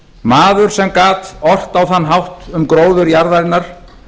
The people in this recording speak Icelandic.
maður sem gat ort á þann hátt um gróður jarðarinnar